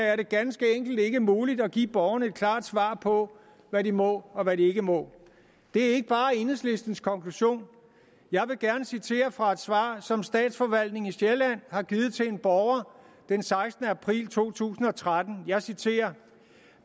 er det ganske enkelt ikke muligt at give borgerne et klart svar på hvad de må og hvad de ikke må det er ikke bare enhedslistens konklusion jeg vil gerne citere fra et svar som statsforvaltningen sjælland har givet til en borger den sekstende april to tusind og tretten jeg citerer